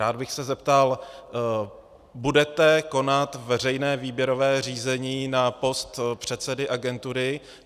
Rád bych se zeptal: Budete konat veřejné výběrové řízení na post předsedy agentury?